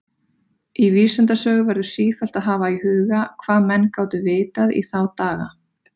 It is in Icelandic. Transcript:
Í vísindasögu verður sífellt að hafa í huga, hvað menn gátu vitað í þá daga.